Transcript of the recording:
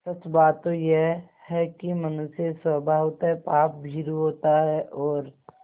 सच बात तो यह है कि मनुष्य स्वभावतः पापभीरु होता है और